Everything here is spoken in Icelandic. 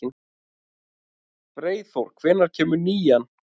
Freyþór, hvenær kemur nían?